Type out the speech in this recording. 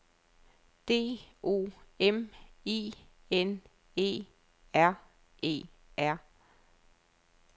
D O M I N E R E R